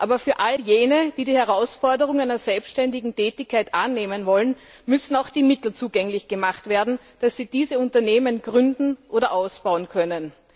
Aber für all jene, die die Herausforderung einer selbständigen Tätigkeit annehmen wollen, müssen auch die Mittel zugänglich gemacht werden, mit denen sie diese Unternehmen gründen oder ausbauen können.